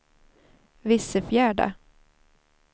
Vissefjärda